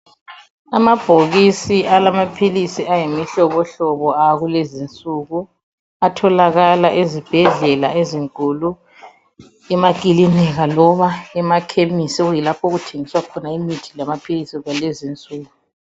Amabhokisi alamaphilisi ayimihlobo hlobo akulezinsuku atholakala ezibhedlela ezinkulu emakilinika loba emakhemisi okuyilapho okuthengiswa khona imithi lamaphilisi kwalezinsuku.